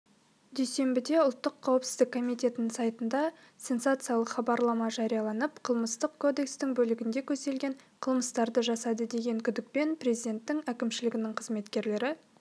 дүйсенбіде ұлттық қауіпсіздік комитетінің сайтында сенсациялық хабарлама жарияланып қылмыстық кодекстің бөлігінде көзделген қылмыстарды жасады деген күдікпен президенті әкімшілігінің қызметкерлері